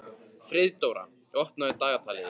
Friðdóra, opnaðu dagatalið mitt.